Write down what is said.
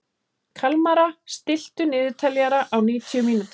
Kalmara, stilltu niðurteljara á níutíu mínútur.